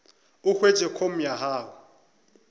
o hwetše com ya gago